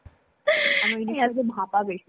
আমার ইলিশের ভাপা বেশী পছন্দ.